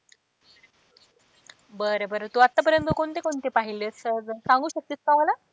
बर बर तू आत्तापर्यंत कोणते कोणते पाहिलेस सांगू शकतेस का मला?